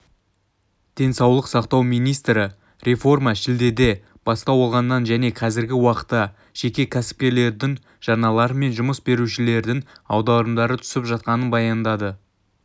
денсаулық сақтау министрі реформа шілдеде бастау алғанын және қазіргі уақытта жеке кәсіпкерлердің жарналары мен жұмыс берушілердің аударымдары түсіп жатқанын баяндады